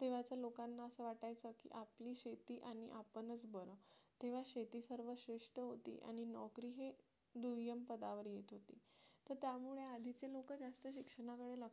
तेव्हाच्या लोकांना असं वाटायचं की आपली शेती आणि आपणच बरं तेव्हा शेती सर्वात श्रेष्ठ होती आणि नोकरी हे दुय्यम पदावर येत होती तर त्यामुळे आधीचे लोक जास्त शिक्षणावर लक्ष